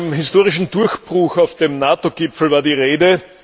Von einem historischen Durchbruch auf dem NATO Gipfel war die Rede.